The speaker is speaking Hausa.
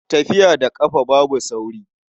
Tafiya da ƙafa babu sauri.